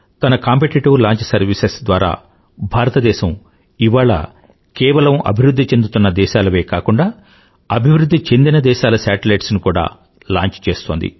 తన competitive launch servicesద్వారా భారతదేశం ఇవాళ కేవలం అభివృధ్ధి చెందుతున్న దేశాలవే కాకుండా అభివృధ్ధి చెందిన దేశాల శాటిలైట్స్ ని కూడా లాంచ్ చేస్తోంది